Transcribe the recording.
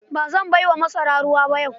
Ba zan bai wa masarar ruwa ba yau.